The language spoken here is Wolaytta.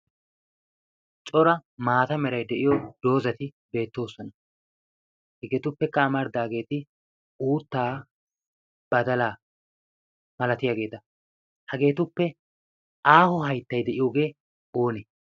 cora maata meray de'iyo doozati beettoosona hegeetuppekka amarddaageeti uuttaa badala malatiyaageeta hageetuppe aaho hayttay de'iyoogee oonee